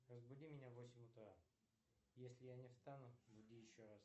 разбуди меня в восемь утра если я не встану буди еще раз